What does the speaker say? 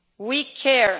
We care.